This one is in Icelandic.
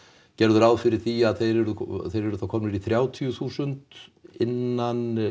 gerðu ráð fyrir því að þeir yrðu þeir yrðu þá komnir í þrjátíu þúsund innan